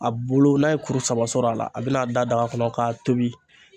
A bulu n'a ye kuru saba sɔrɔ a la a bɛna da daga kɔnɔ k'a tobi.